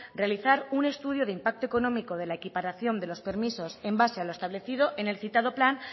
realizar un estudio de impacto económico de la equiparación de los permisos en base a lo establecido en el citado plan